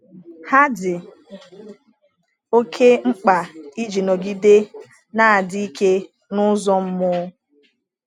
Ha dị oké mkpa iji nọgide na-adị ike n’ụzọ mmụọ.